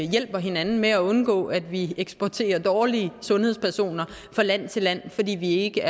hjælper hinanden med at undgå at vi eksporterer dårlige sundhedspersoner fra land til land fordi vi er ikke